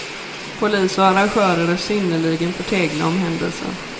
Polis och arrangörer är synnerligen förtegna om händelsen.